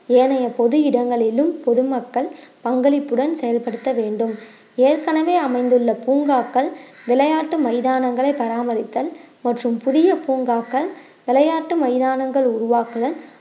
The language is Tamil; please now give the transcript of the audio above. ஏனைய பொது இடங்களிலும் பொதுமக்கள் பங்களிப்புடன் செயல்படுத்த வேண்டும் ஏற்கனவே அமைந்துள்ள பூங்காக்கள் விளையாட்டு மைதானங்களை பராமரித்தல் மற்றும் புதிய பூங்காக்கள் விளையாட்டு மைதானங்கள் உருவாக்குதல்